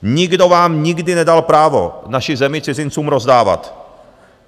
Nikdo vám nikdy nedal právo naši zemi cizincům rozdávat.